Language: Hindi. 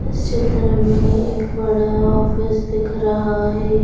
इस चित्र में एक बड़ा ऑफिस दिख रहा है।